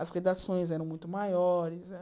As redações eram muito maiores. Era